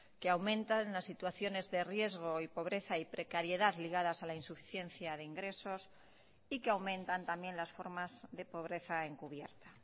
que aumentan las situaciones de riesgo y pobreza y precariedad ligadas a la insuficiencia de ingresos y que aumentan también las formas de pobreza encubierta